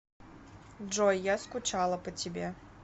джой я скучала по тебе